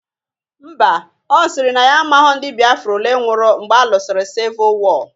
Mba, ọ sịrị na ya amaghọ ndị Biafra olee nwụrụ mgbe alụsịrị sivụl wọọ